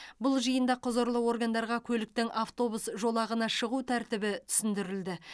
бұл жиында құзырлы органдарға көліктің автобус жолағына шығу тәртібі түсіндірілді